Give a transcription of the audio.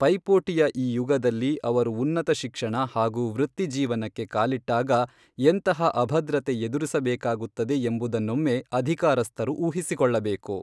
ಪೈಪೋಟಿಯ ಈ ಯುಗದಲ್ಲಿ ಅವರು ಉನ್ನತ ಶಿಕ್ಷಣ ಹಾಗೂ ವೃತ್ತಿಜೀವನಕ್ಕೆ ಕಾಲಿಟ್ಟಾಗ ಎಂತಹ ಅಭದ್ರತೆ ಎದುರಿಸಬೇಕಾಗುತ್ತದೆ ಎಂಬುದನ್ನೊಮ್ಮೆ ಅಧಿಕಾರಸ್ಥರು ಊಹಿಸಿಕೊಳ್ಳಬೇಕು.